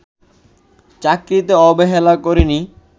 চাকরিতে অবহেলা করিনি